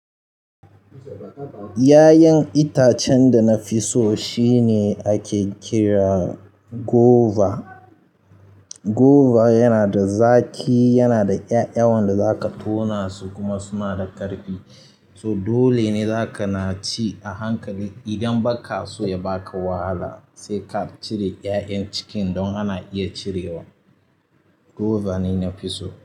Yayan itacen da na fi so shine ake kira guava. Guava yana da zaƙi, yana da ƴaƴan da za ka tauna su kuma suna da ƙarfi. So dole ne za ka na ci a hankali idan ba ka so ya baka wahala. Sai ka cire ƴaƴan cikin don ana iya cirewa. Guava ne na fi so.